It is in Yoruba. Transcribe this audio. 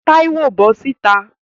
Táíwò, bọ́ sìta!